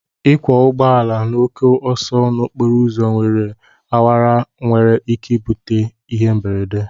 Ịkwọ ụgbọala n'oke ọsọ n'okporo ụzọ awara awara nwere ike bute ịhe mberede